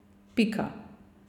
Pika.